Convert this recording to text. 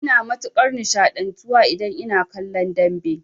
Ina matukar nishaɗantuwa idan ina kallon dambe